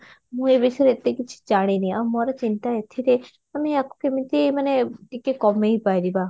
ମୁଁ ଏ ବିଷୟରେ ଏତେ କିଛି ଜାଣିନି ଆଉ ମୋର ଚିନ୍ତା ଏଥିରେ ମାନେ ଆକୁ କେମିତି ମାନେ ଟିକେ କମେଇପାରିବା